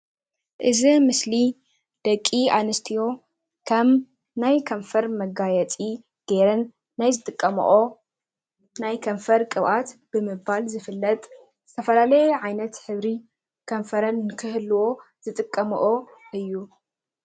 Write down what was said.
እዚ ምስሊ ደቂ ኣንስትዮ ከም ናይ ከንፈር መጋየፂ ገይረን ናይ ዝጥቀመኦ ናይ ከንፈር ቅብኣት ብምባል ዝፍለጥ ዝተፈላለየ ዓይነት ሕብሪ ከንፈረን ንክህልዎ ዝጥቀምኦ እዩ።